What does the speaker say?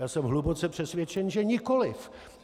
Já jsem hluboce přesvědčen že nikoliv.